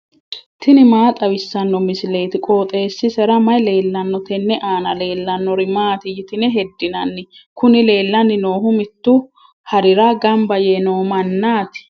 tini maa xawissanno misileeti? qooxeessisera may leellanno? tenne aana leellannori maati yitine heddinanni? Kuni leellanni noohu mittu harira gamba yee no mannaati.